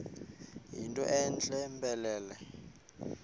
yinto entle mpelele